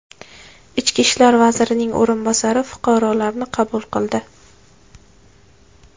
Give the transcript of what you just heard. Ichki ishlar vazirining o‘rinbosari fuqarolarni qabul qildi.